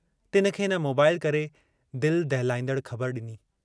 तिन खे हिन मोबाईल करे दिल दहलाईंदड़ ख़बर डिनी।